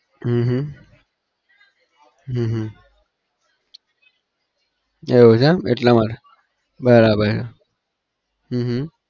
હમ હમ હમ હમ એવું છે એમ એટલા માટે બરાબર છે. હમ હમ